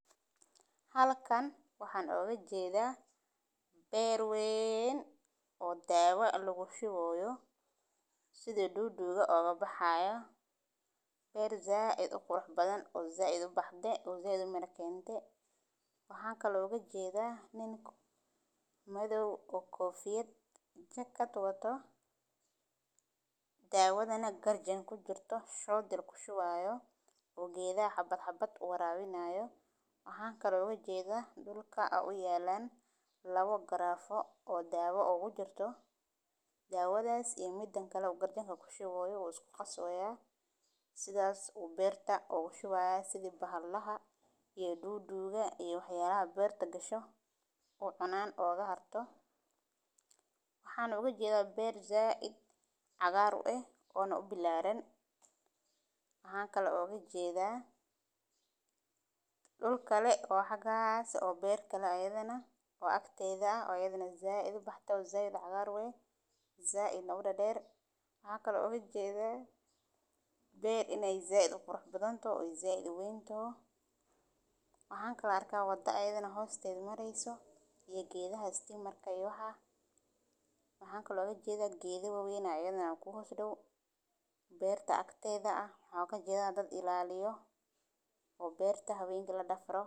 Halkan waxan oga jedha beer weyn oo dawa lagu shuwi hayo sitha duduga oga baxayo beer said u qurux badan oo said u baxde oo said umira kente waxan kale oo oga jedha nin madhow oo kofiat jakaad wato, dawadhana garjin kujirto ku wareyinayo oo gedhaha xabad xabad u warawinaya, lawa cag oo dawo ogu jirto sithas ayu beerta ogu shubi haya si ee bahalaha u cunin, waxan ujedha beer said u cagaran ona said ubilaran waxan kale oo oga jeda dul kale oo agtedha ah ayadhana said u baxde, waxan kalo ujedha beer in ee said u qurux badan toho waxan kalo arka wada ayadana hosteeda mareyso gedaha istimarka, beerta agteeda waxan ujeda dad ilaliyo oo beerta hawenki ladafro.